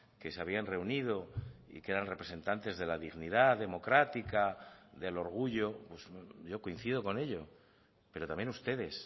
que se habían reunido y que eran representantes de la dignidad democrática del orgullo yo coincido con ello pero también ustedes